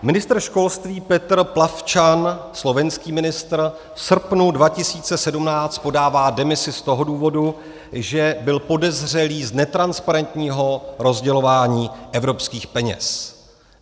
Ministr školství Peter Plavčan, slovenský ministr, v srpnu 2017 podává demisi z toho důvodu, že byl podezřelý z netransparentního rozdělování evropských peněz.